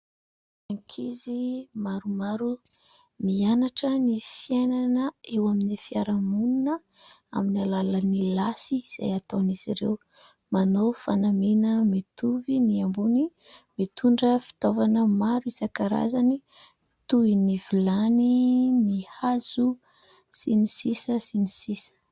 Ankizy maromaro mianatra ny fiainana eo amin'ny fiarahamonina amin'ny alalan'ny lasy, izay ataon'izy ireo, manao fanamiana mitovy ny ambony, mitondra fitaovana maro isan-karazany toy : ny vilany, ny hazo sy ny sisa sy ny sisa.